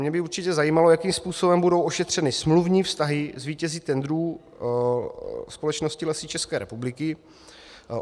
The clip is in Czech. Mě by určitě zajímalo, jakým způsobem budou ošetřeny smluvní vztahy s vítězi tendrů společnosti Lesy České republiky.